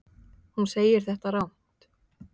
Hún segir þetta rangt.